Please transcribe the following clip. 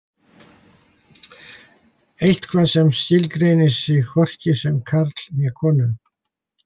Eitthvað sem skilgreinir sig hvorki sem karl né konu.